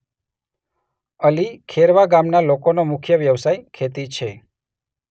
અલી ખેરવા ગામના લોકોનો મુખ્ય વ્યવસાય ખેતી છે.